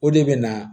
O de bɛ na